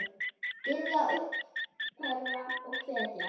Styðja, uppörva og hvetja.